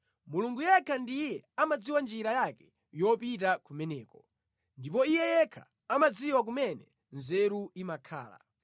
Mulungu yekha ndiye amadziwa njira yake yopita kumeneko, ndipo Iye yekha amadziwa kumene nzeru imakhala,